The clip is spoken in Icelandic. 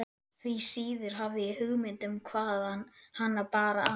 Því síður hafði ég hugmynd um hvaðan hana bar að.